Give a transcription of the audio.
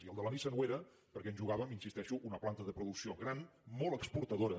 i el de la nissan ho era perquè ens jugàvem hi insisteixo una planta de producció gran molt exportadora